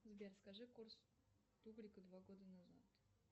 сбер скажи курс тугрика два года назад